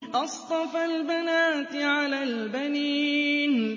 أَصْطَفَى الْبَنَاتِ عَلَى الْبَنِينَ